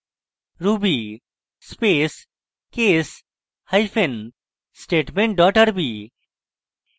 ruby space case hyphen statement dot rb